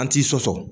An ti sɔsɔ